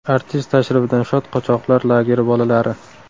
Artist tashrifidan shod qochoqlar lageri bolalari.